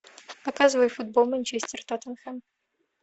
показывай футбол манчестер тоттенхэм